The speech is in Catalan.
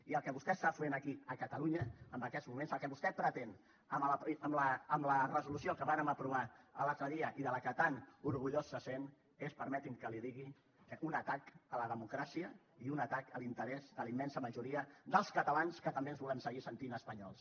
i el que vostè està fent aquí a catalunya en aquests moments el que vostè pretén amb la resolució que vàrem aprovar l’altre dia i de què tan orgullós se sent és permeti’m que li ho digui un atac a la democràcia i un atac a l’interès de la immensa majoria dels catalans que també ens volem seguir sentint espanyols